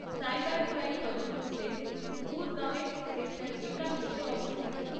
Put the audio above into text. Cyber crime তদন্ত cell গুরগাঁওয়ের sector একান্নতে অবস্থিত।